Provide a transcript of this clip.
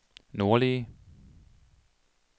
nordlige